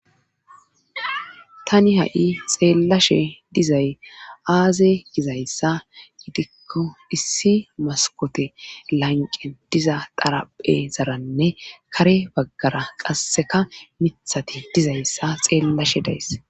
tani ha7i xeellashe dizay aaze gizayssa gidikko issi maskote lanqen diza daraphe zaranne kare baggara qasseka mithati dizayssa xeellashe days